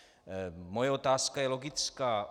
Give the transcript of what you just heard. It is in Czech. Moje otázka je logická.